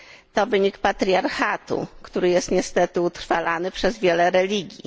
To wynik patriarchatu, który jest niestety utrwalany przez wiele religii.